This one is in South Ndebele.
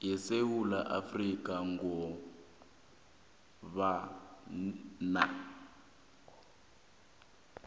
yesewula afrika kobana